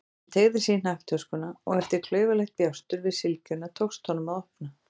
Hann teygði sig í hnakktöskuna og eftir klaufalegt bjástur við sylgjuna tókst honum að opna.